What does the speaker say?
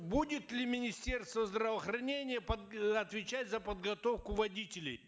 будет ли министерство здравоохранения э отвечать за подготовку водителей